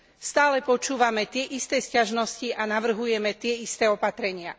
Stále počúvame tie isté sťažnosti a navrhujeme tie isté opatrenia.